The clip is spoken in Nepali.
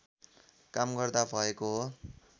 काम गर्दा भएको हो